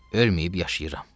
Ölməyib yaşayıram.